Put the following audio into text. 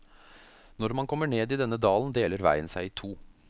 Når man kommer ned i denne dalen deler veien seg i to.